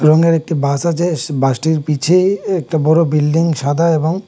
রঙ্গের একটি বাস আছে এস বাস টির পিছে একটি বড় বিল্ডিং সাদা এবং --